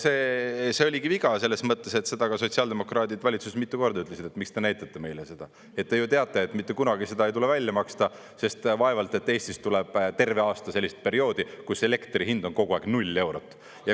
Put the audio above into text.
See oligi viga, selles mõttes, et seda ka sotsiaaldemokraadid valitsuses mitu korda ütlesid, et miks te näitate meile seda, te ju teate, et mitte kunagi seda ei tule välja maksta, sest vaevalt et Eestis tuleb terve aasta sellist perioodi, kus elektri hind on kogu aeg null eurot.